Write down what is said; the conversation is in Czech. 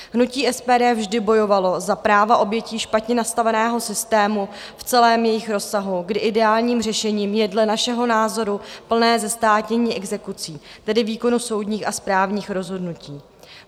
Hnutí SPD vždy bojovalo za práva obětí špatně nastaveného systému v celém jejich rozsahu, kdy ideálním řešením je dle našeho názoru plné zestátnění exekucí, tedy výkonu soudních a správních rozhodnutí.